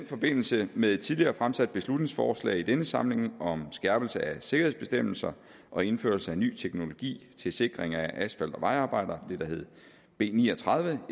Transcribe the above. forbindelse med et tidligere fremsat beslutningsforslag i denne samling om skærpelse af sikkerhedsbestemmelser og indførelse af ny teknologi til sikring af asfalt og vejarbejdere det det der hed b ni og tredive